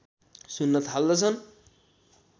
सुन्न थाल्दछन्